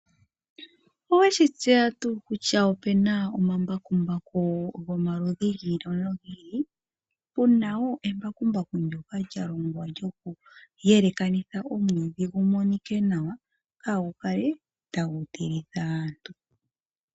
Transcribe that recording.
Oweshi tseya tuu kutya opuna ombakumbaku giili nogiili? Opuna embakumbaku ndyoka lyokuyelekanitha omwiidhi gukale gweelekana nawa , kaagu kale tagu tilitha aantu.